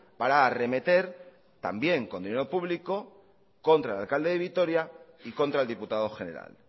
para arremeter también con dinero público contra el alcalde de vitoria y contra el diputado general